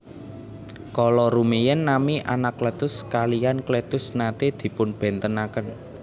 Kala rumiyin nami Anakletus kaliyan Kletus naté dipunbèntenaken